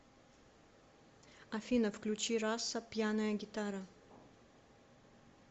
афина включи раса пьяная гитара